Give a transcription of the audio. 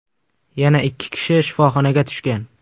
Yana ikki kishi shifoxonaga tushgan.